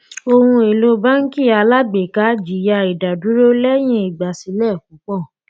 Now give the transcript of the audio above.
ohun èlò báńkì alágbèéká jìyà ìdádúró lẹ́yìn ìgbàsílẹ̀ púpọ̀.